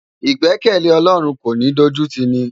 Igbèkèlé Òlòrún kó kin dójútini